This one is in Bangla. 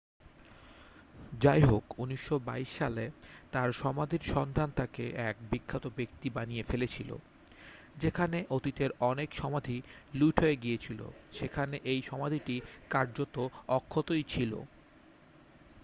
যাইহোক 1922 সালে তাঁর সমাধির সন্ধান তাকে এক বিখ্যাত ব্যক্তি বানিয়ে ফেলেছিল যেখানে অতীতের অনেক সমাধি লুট হয়ে গিয়েছিল সেখানে এই সমাধিটি কার্যত অক্ষতই ছিল